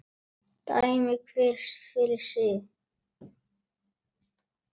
Dæmi hver fyrir sig.